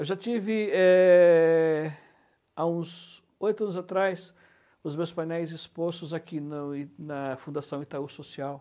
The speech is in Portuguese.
Eu já tive, eh, há uns oito anos atrás, os meus painéis expostos aqui na na Fundação Itaú Social.